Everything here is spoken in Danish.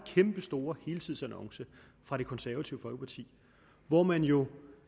kæmpestore helsidesannonce fra det konservative folkeparti hvor man jo